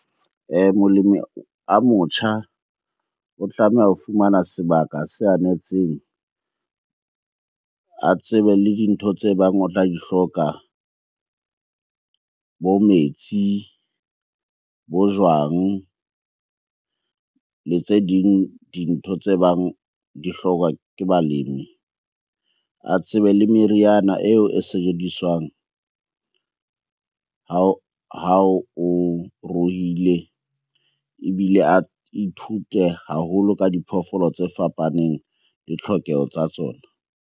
Molemi a motjha o tlameha ho fumana sebaka se anetseng, a tsebe le dintho tse bang o tla di hloka. Bo metsi, bo jwang le tse ding dintho tse bang di hlokwa ke balemi. A tsebe le meriana eo e sebediswang ha o ruile, ebile a ithute haholo ka diphoofolo tse fapaneng le tlhokeho tsa tsona.